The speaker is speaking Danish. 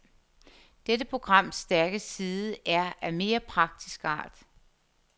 Dette programs stærke side er af mere praktisk art.